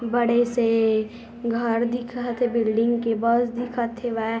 बड़े से घर दिखत हे बिल्डिंग के बस दिखत हेवय।